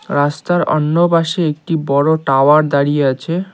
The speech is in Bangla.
রাস্তার অন্য পাশে একটি বড় টাওয়ার দাঁড়িয়ে আছে।